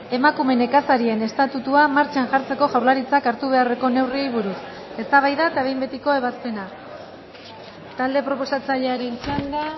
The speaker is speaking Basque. emakume nekazarien estatutua martxan jartzeko jaurlaritzak hartu beharreko neurriei buruz eztabaida eta behin betiko ebazpena talde proposatzailearen txanda